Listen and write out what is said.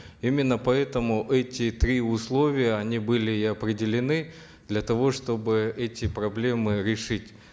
именно поэтому эти три условия они были и определены для того чтобы эти проблемы решить